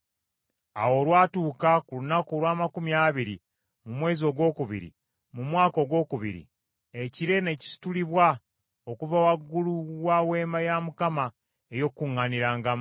Awo olwatuuka ku lunaku olw’amakumi abiri mu mwezi ogwokubiri mu mwaka ogwokubiri, ekire ne kisitulibwa okuva waggulu wa Weema ey’Endagaano.